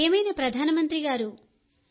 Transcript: ప్రియమైన ప్రధాన మంత్రిగారూ